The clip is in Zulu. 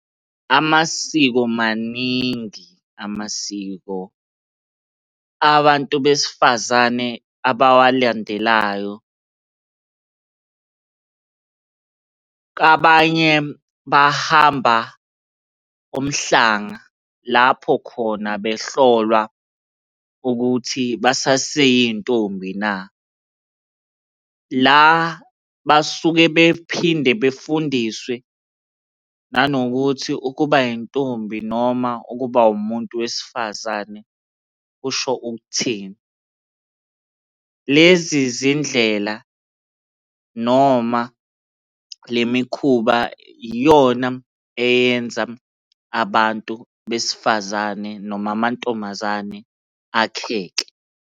Amasiko maningi amasiko. Abantu besifazane abawalandelayo kabanye bahamba umhlanga lapho khona behlolwa ukuthi basaseyintombi na. La basuke bephinde befundiswe nanokuthi ukuba yintombi noma ukuba umuntu wesifazane kusho ukuthini. Lezi zindlela noma le mikhuba iyona eyenza abantu besifazane noma amantombazane akheke.